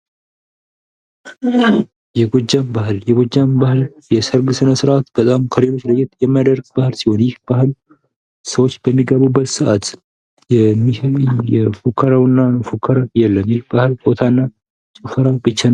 የጎጃም ባህል የጎጃም ባል የሰርግ ስነ ስርዓት በጣም ከሌሎች ለየት የሚያደርግ በዓል ሲሆን የባህል ሰዎች በሚገቡበት ሰዓት መፎከር የለም የባል ሆታና ጭፈራ ነው ።